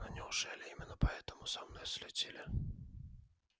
ну неужели именно поэтому за мной следили